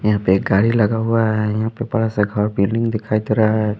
यहाँ पे एक गाड़ी लगा हुआ है यहाँ पे बड़ा सा घर बिल्डिंग दिखाई दे रहा है।